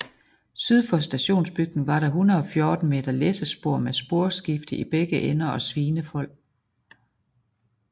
Syd for stationsbygningen var der 114 m læssespor med sporskifte i begge ender og svinefold